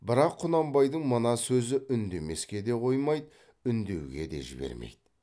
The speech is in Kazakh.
бірақ құнанбайдың мына сөзі үндемеске де қоймайды үндеуге де жібермейді